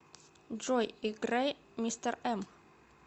джой играй мистер эм